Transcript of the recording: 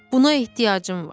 Buna ehtiyacım var.